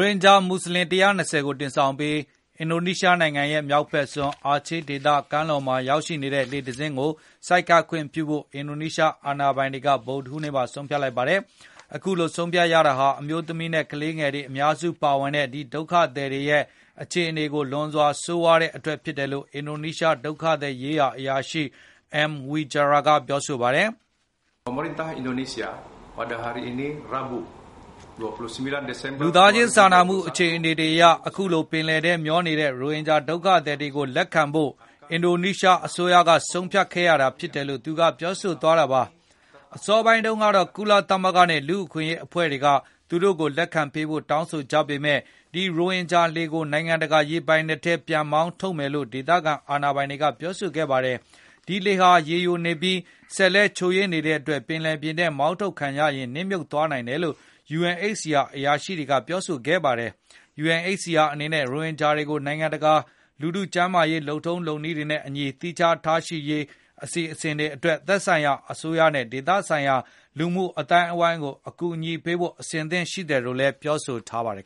င်ဂျာမူဆလင် (၁၂၀)ကို တင်ဆောင်ပြီး အင်ဒိုနီးရှားနိုင်ငံရဲ့ မြောက်ဖက်စွန်း အာချေးဒေသ ကမ်းလွန်မှာ ရောက်ရှိနေတဲ့ လှေတစင်းကို ဆိုက်ကပ်ခွင့်ပြုဖို့ အင်ဒိုနီးရှား အာဏာပိုင်တွေက ဗုဒ္ဓဟူးနေ့မှာ ဆုံးဖြတ်လိုက်ပါတယ်။ အခုလို ဆုံးဖြတ်ရတာဟာ အမျိုးသမီးနဲ့ ကလေးငယ်တွေ အများစုပါဝင်တဲ့ ဒီဒုက္ခသည်တွေရဲ့ အခြေအနေ လွန်စွာ ဆိုးရွားနေတဲ့အတွက် ဖြစ်တယ်လို့ အင်ဒိုနီးရှား ဒုက္ခသည်ရေးရာ အရာရှိ Armed Wijaya က ပြောပါတယ်။ “လူသားချင်း စာနာမှု အခြေအနေတွေအရ ၊ အခုလို ပင်လယ်ထဲ မျောနေတဲ့ ရိုဟင်ဂျာဒုက္ခသည်တွေကို လက်ခံဖို့ အင်ဒိုနီးရှားအစိုးရက ဆုံးဖြတ်ခဲ့ရတာ ဖြစ်တယ်လို့”.. သူက ပြောသွားတာပါ။ အစောပိုင်းတုန်းကတော့ ကုလသမဂ္ဂနဲ့ လူ့အခွင့်အရေး အဖွဲ့တွေက သူတို့ကို လက်ခံပေးဖို့ တောင်းဆိုနေကြပေမယ့် ဒီ ရိုဟင်ဂျာလှေကို နိုင်ငံတကာ ရေပိုင်နက်ထဲ ပြန်လည်မောင်းထုတ်မယ်လို့ ဒေသခံ အာဏာပိုင်တွေက ပြောခဲ့ကြတာပါ။ အဲဒီလှေဟာ ရေယိုနေပြီး ၊ စက်လည်း ချို့ယွင်းနေတဲ့အတွက် ပင်လယ်ပြင်ထဲ မောင်းထုတ်ခံရရင် နစ်မြုပ်သွားနိုင်တယ်လို့ UNHCR အရာရှိတွေက ပြောခဲ့ကြတာပါ။ UNHCR အနေနဲ့ ရိုဟင်ဂျာတွေကို နိုင်ငံတကာ လူထုကျန်းမာရေး လုပ်ထုံးလုပ်နည်းတွေနဲ့အညီ သီးခြားထားရှိရေး အစီအစဉ်အတွက် သက်ဆိုင်ရာအစိုးရနဲ့ ဒေသဆိုင်ရာ လူမှုအသိုက်အဝန်းကို အကူအညီပေးဖို့ အဆင်သင့် ရှိတယ်လို့လည်း ပြောထားပါတယ်